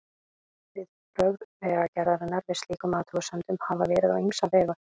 Viðbrögð Vegagerðarinnar við slíkum athugasemdum hafa verið á ýmsa vegu.